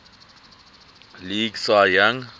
league cy young